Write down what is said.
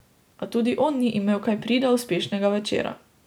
A tudi on ni imel kaj prida uspešnega večera.